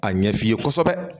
A ɲɛ f'i ye kosɛbɛ